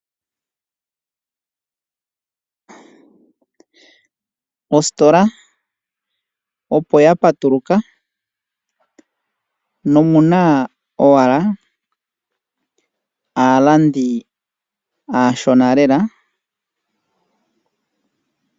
Ositola opo ya patuluka nomuna owala aalandi aashona lela.